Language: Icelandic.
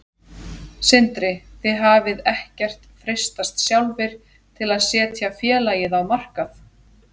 Sindri: Þið hafið ekkert freistast sjálfir til að setja félagið á markað?